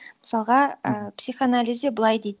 мысалға ы психоанализде былай дейді